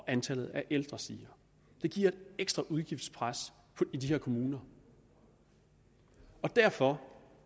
antallet af ældre stiger det giver et ekstra udgiftspres i de her kommuner og derfor